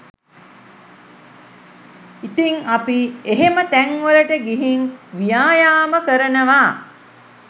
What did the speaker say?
ඉතිං අපි එහෙම තැන්වලට ගිහින් ව්‍යායාම කරනවා